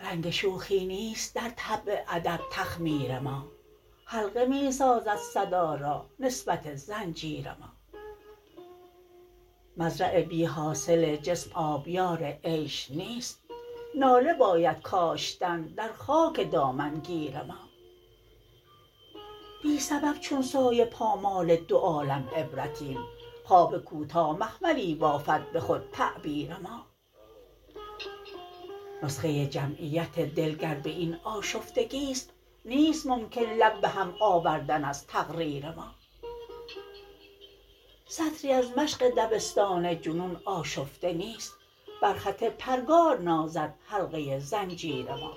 رنگ شوخی نیست درطبع ادب تخمیر ما حلقه می سازد صدا را نسبت زنجیر ما مزرع بیحاصل جسم آبیار عیش نیست ناله بایدکاشتن در خاک دامنگیر ما بی سبب چون سایه پامال دوعالم عبرتیم خواب کوتا مخملی بافد به خود تعبیر ما نسخه جمعیت دل گر به این آشفتگی ست نیست ممکن لب به هم آوردن ازتقریر ما سطری ازمشق دبستان جنون آشفته نیست بر خط پرگار نازد حلقه زنجیر ما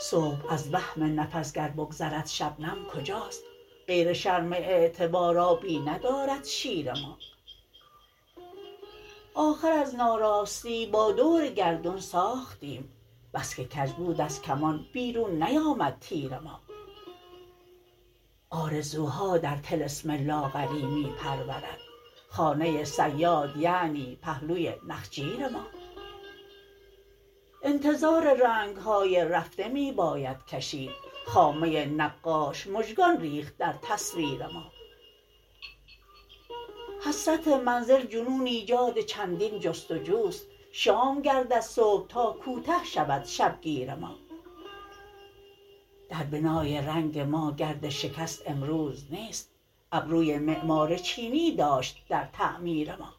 صبح از وهم نفس گر بگذردشبنم کجاست غیر شرم اعتبار آبی ندارد شیر ما آخر از ناراستی با دورگردون ساختیم بسکه کج بود ازکمان بیرون نیامد تیر ما آرزوها در طلسم لاغری می پرورد خانه صیاد یعنی پهلوی نخجیر ما انتظار رنگهای رفته می باید کشید خامه نقاش مژگان ریخت درتصویر ما حسرت منزل جنون ایجادچندین جستجوست شام گردد صبح تاکوته شود شبگیر ما در بنای رنگ ماگردشکست امروز نیست ابروی معمار چینی داشت در تعمیر ما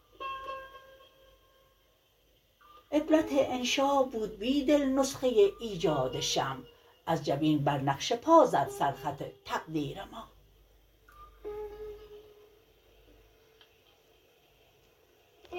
عبرت انشابود بیدل نسخه ایجادشمع از جبین بر نقش پا زد سر خط تقدیر ما